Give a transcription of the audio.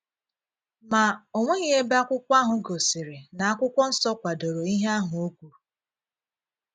Ma, o nweghị ebe akwụkwọ ahụ gosiri n’Akwụkwọ Nsọ kwadoro ihe ahụ o kwuru.